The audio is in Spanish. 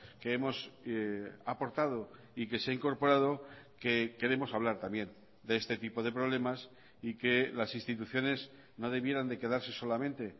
que hemos aportado y que se ha incorporado que queremos hablar también de este tipo de problemas y que las instituciones no debieran de quedarse solamente